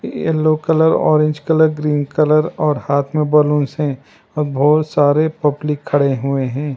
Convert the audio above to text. Yellow colour orange colour green colour और हाथ में बैलून से अब बहुत सारे पब्लिक खड़े हुए हैं।